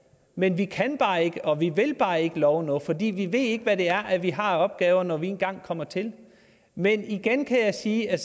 men vi kan bare ikke og vi vil bare ikke love noget for vi ved ikke hvad det er er vi har af opgaver når vi engang kommer til men igen kan jeg sige at